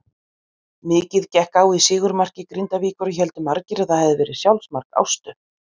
Mikið gekk á í sigurmarki Grindavíkur og héldu margir að það hafiði verið sjálfsmark Ástu.